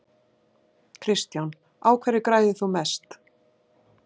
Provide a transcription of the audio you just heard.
Kristján: Á hverju græðir þú mest?